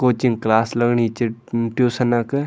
Coaching class लगणी च म ट्यूशन क।